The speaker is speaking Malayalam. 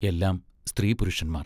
എല്ലാം സ്ത്രീപുരുഷന്മാർ......